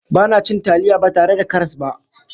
Ba na cin taliya ba tare da karas ba.